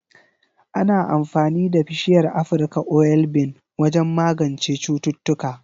Ana amfani da bishiyar Afirka oil bean wajen magance cututtuka